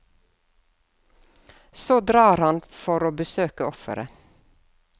Så drar han for å besøke offeret.